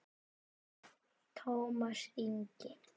Tómas Ingi.